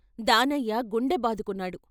దానయ్య గుండె బాదుకున్నాడు.